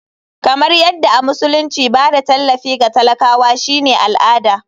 Kamar yadda a musulunci ba da tallafi ga talakawa shine al'ada.